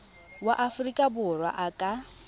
wa aforika borwa a ka